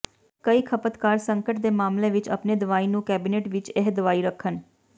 ਕਈ ਖਪਤਕਾਰ ਸੰਕਟ ਦੇ ਮਾਮਲੇ ਵਿੱਚ ਆਪਣੇ ਦਵਾਈ ਨੂੰ ਕੈਬਨਿਟ ਵਿੱਚ ਇਹ ਦਵਾਈ ਰੱਖਣ